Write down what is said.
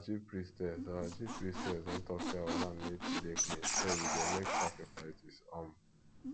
our chief priestess our chief priestess don talk say our land need to dey clean so we go make sacrifices um